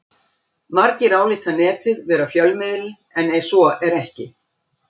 Margir álíta Netið vera fjölmiðil en svo er ekki.